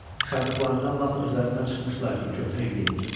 Şadlıqlarından lap özlərindən çıxmışdılar ki, köhnə il gedir.